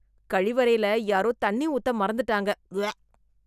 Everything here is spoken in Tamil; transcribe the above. கழிவறைல யாரோ தண்ணி ஊத்த மறந்துட்டாங்க.... உவ்வ